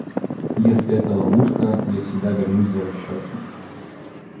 если это ловушка я всегда вернусь за расчётом